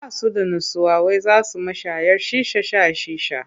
Ba su da nutsuwa wai za su mashayar shisha sha shisha.